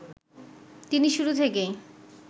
তিনি শুরু থেকেই